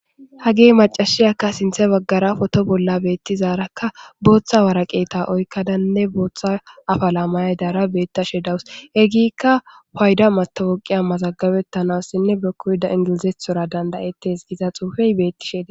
hagee macashiyakka sinthe baggara foto bolla beettizaarakka booththa waraqeeta oykkadanne booththa afalaamayay daara beetta she dawus egikka payda matawoqiya mazaggabettanassinne be koyda ingilizethora dandayettes giza xuufey beettisheeda